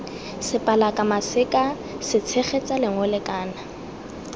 sepalaka maseka setshegetsa lengole kana